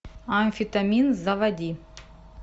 амфетамин заводи